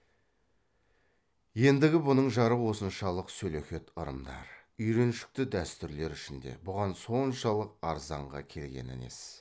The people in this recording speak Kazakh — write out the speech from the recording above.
ендігі бұның жары осыншалық сөлекет ырымдар үйреншікті дәстүрлер ішінде бұған соншалық арзанға келгені несі